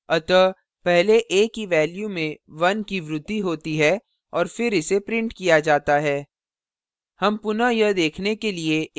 अतः पहले a की value में 1 की वृद्धि होती है और फिर इसे printed किया जाता है